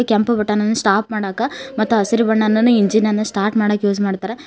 ಕೆಂಪು ಬಟನ್ ಅನ್ನು ಸ್ಟಾಪ್ ಮಾಡಕ್ಕ ಮತ್ತು ಹಸಿರು ಬಣ್ಣ ನನ್ನು ಇಂಜಿನ್ ಅನ್ನು ಸ್ಟಾರ್ಟ್ ಮಾಡಕ್ ಯೂಸ್ ಮಾಡ್ತಾರಾ --